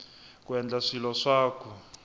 ku endla swilo swa ku